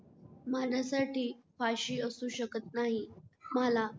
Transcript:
माझ्यासाठी फाशी असू शकत नाही मला